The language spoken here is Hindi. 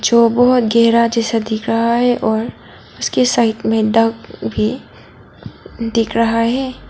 जो बहोत गहरा जैसा दिख रहा है और उसके साइड में डक भी दिख रहा है।